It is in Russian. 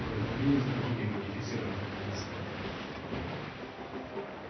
вы говорили с другими модифицированными несторами